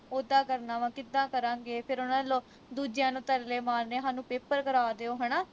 ਉੱਦਾਂ ਕਰਨਾ ਵਾ ਕਿੱਦਾਂ ਕਰਾਂਗੇ ਫਿਰ ਉਨ੍ਹਾਂ ਨੇ ਦੂਜਿਆਂ ਨੂੰ ਤਰਲੇ ਮਾਰਨੇ ਹਾਨੂੰ paper ਕਰਾ ਦਿਓ ਹਣਾ